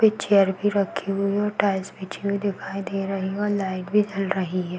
Chair भी रखी हुई हैं और टाइल्स बिछी हुई दिखाई दे रही हैं और लाइट भी जल रही हैं।